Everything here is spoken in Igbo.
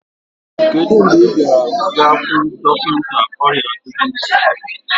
kedu mgbe ị ga-aga hụ dọkịta ọrịa dịmensha gị?